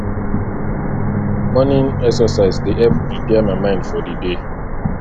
morning exercise dey help prepare my mind for di day